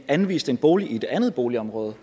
anvist en bolig i et andet boligområde